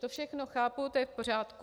To všechno chápu, to je v pořádku.